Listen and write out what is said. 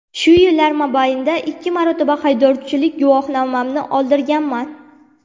Shu yillar mobaynida ikki marotaba haydovchilik guvohnomamni oldirganman.